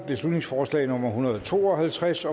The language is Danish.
beslutningsforslag nummer hundrede og to og halvtreds